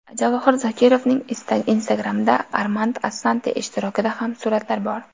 Javohir Zokirovning Instagram’ida Armand Assante ishtirokida ham suratlar bor.